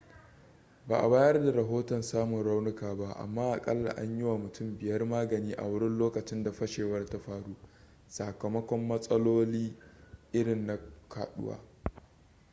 ba a bayar da rahoton samun raunuka ba amma akalla an yi wa mutum biyar magani a wurin lokacin da fashewar ta faru sakamakon matsaloli irin na kaduwa